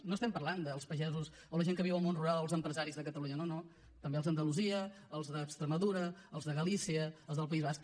no parlem dels pagesos o la gent que viu del món rural o els empresaris de catalunya no també els d’andalusia els d’extremadura els de galícia els del país basc